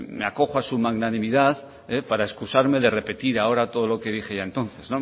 me acojo a su magnanimidad para excusarme de repetir ahora todo lo que dije ya entonces